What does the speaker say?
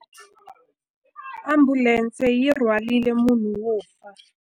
Ambulense yi rhwarile munhu wo fa.